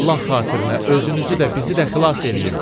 Allah xatirinə özünüzü də bizi də xilas eləyin.